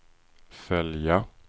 följa